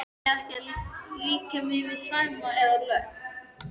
Ég er ekki að líkja mér við Sæma eða lögg